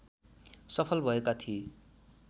सफल भएका थिए।